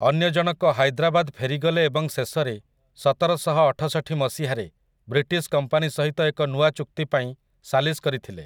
ଅନ୍ୟଜଣକ ହାଇଦ୍ରାବାଦ ଫେରିଗଲେ ଏବଂ ଶେଷରେ, ସତରଶଅଠଷଠି ମସିହାରେ ବ୍ରିଟିଶ୍ କମ୍ପାନୀ ସହିତ ଏକ ନୂଆ ଚୁକ୍ତି ପାଇଁ ସାଲିସ୍ କରିଥିଲେ ।